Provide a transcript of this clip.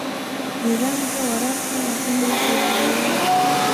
Nidaamka waraabka waa in la ilaaliyaa.